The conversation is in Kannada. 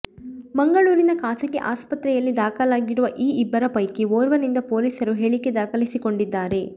ಮಂಗಳೂರಿನ ಖಾಸಗಿ ಆಸ್ಪತ್ರೆಯಲ್ಲಿ ದಾಖಲಾಗಿರುವ ಈ ಇಬ್ಬರ ಪೈಕಿ ಓರ್ವನಿಂದ ಪೊಲೀಸರು ಹೇಳಿಕೆ ದಾಖಲಿಸಿಕೊಂ ಡಿದ್ದಾರೆ